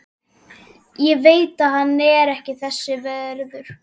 Ég veit hann er ekki þess verður.